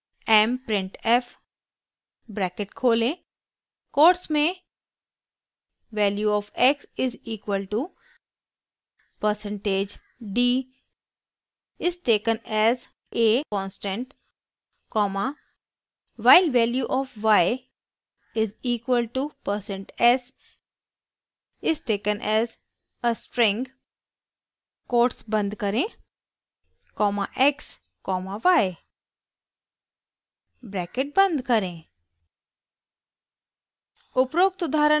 mprintf bracket खोलें quotes में value of x is equal to percentage d is taken as a constant comma while value of y is equal to percent s is taken as a string quotes बंद करें comma x comma y bracket बंद करें